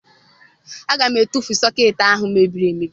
Aga m etufu sọkeetị ahụ mebiri emebi